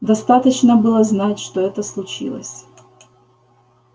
достаточно было знать что это случилось